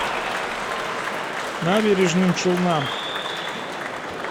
набережным челнам